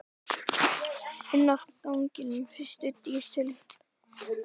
Inn af ganginum, fyrstu dyr til hægri, svaraði Sveinn.